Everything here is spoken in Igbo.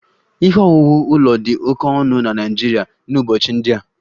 Ihe owuwu ụlọ dị oke ọnụ na Naịjirịa n'ụbọchị ndị a